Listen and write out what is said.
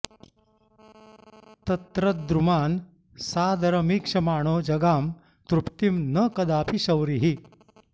तत्र द्रुमान् सादरमीक्षमाणो जगाम तृप्तिं न कदाऽपि शौरिः